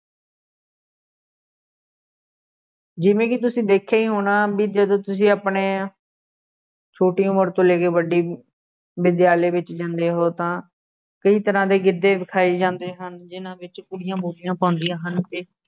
ਜਿਵੇਂ ਕਿ ਤੁਸੀਂ ਦੇਖਿਆ ਹੀ ਹੋਣਾ, ਬਈ ਜਦੋਂ ਤੁਸੀਂ ਆਪਣੇ ਛੋਟੀ ਉਮਰ ਤੋਂ ਲੈ ਕੇ ਵੱਡੀ ਵਿਦਿਆਲਿਆ ਵਿੱਚ ਜਾਂਦੇ ਹੋ ਤਾਂ ਕਈ ਤਰ੍ਹਾ ਦੇ ਗਿੱਧੇ ਵਿਖਾਏ ਜਾਂਦੇ ਹਨ ਜਿੰਨ੍ਹਾ ਵਿੱਚ ਕੁੜੀਆਂ ਬੋਲੀਆਂ ਪਾਉਂਂਦੀਆਂ ਹਨ ਅਤੇ